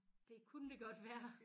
Det kunen det godt være